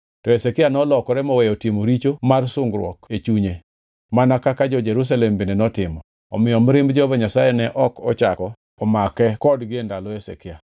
To Hezekia nolokore moweyo timo richo mar sungruok e chunye mana kaka jo-Jerusalem bende notimo, omiyo mirimb Jehova Nyasaye ne ok ochako omake kodgi e ndalo Hezekia.